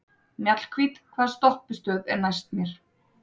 Mjallhvít, hvaða stoppistöð er næst mér?